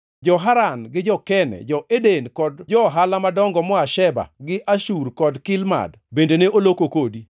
“ ‘Jo-Haran, jo-Kanne, jo-Eden kod jo-ohala madongo moa Sheba gi Ashur kod Kilmad bende ne oloko kodi.